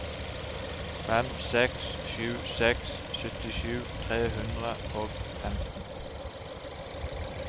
fem seks sju seks syttisju tre hundre og femten